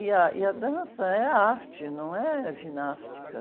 E a, e a dança é a arte, não é a ginástica.